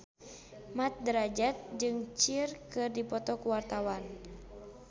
Mat Drajat jeung Cher keur dipoto ku wartawan